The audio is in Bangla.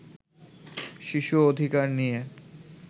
শিশু অধিকার নিয়ে